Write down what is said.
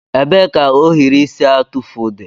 Ebee ka ohiri isi atụfu dị?